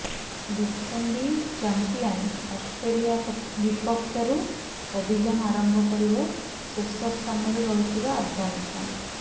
defending champion Australia ବିପକ୍ଷରୁ ଅଭିଯାନ ଆରମ୍ଭ କରିବ ଶେଷ ସ୍ଥାନରେ ରହିଥିବା ଆଫଗାନିସ୍ତାନ